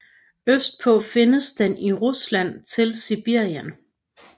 Østpå findes den i Rusland til Sibirien